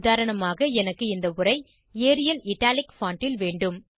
உதாரணமாக எனக்கு இந்த உரை ஏரியல் இட்டாலிக் பான்ட் ல் வேண்டும்